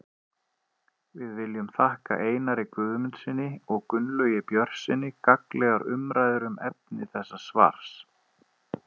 Við viljum þakka Einari Guðmundssyni og Gunnlaugi Björnssyni gagnlegar umræður um efni þessa svars.